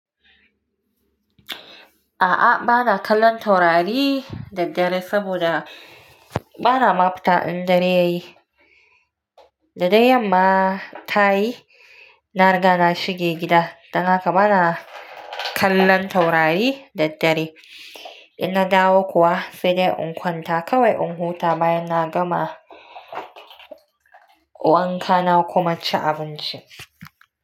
A'a, bana kallon taurari da dare saboda bana mafita in dare ya yi. Da dai yamma ta yi, na riga na shige gida. Dan haka bana kallon taurari da dare. In na dawo kuwa, sai dai in kwanta kawai in huta bayan na gama wanka na kuma ci abinci.